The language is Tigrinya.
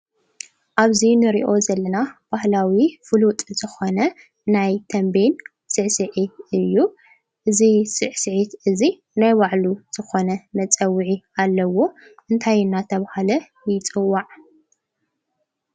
ኣብዚ ንሪኦ ዘለና ባህላዊ ፍሉጥ ዝኾነ ናይ ተምቤን ስዕስዒት እዩ፡፡ እዚ ስዕስዒት እዚ ናይ ባዕሉ ዝኾነ መፀውዒ ኣለዎ፡፡ እንታይ እናተባህለ ይፅዋዕ?